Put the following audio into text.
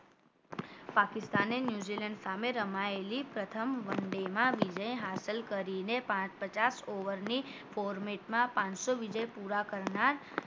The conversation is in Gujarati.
પાકિસ્તાને ન્યૂઝીલેન્ડ સામે રમાયેલી પ્રથમ one day માં વિજય હાંસલ કરી ને પાંચ પચાસ over ની format માં પાનસો વિજય પુરા કરનાર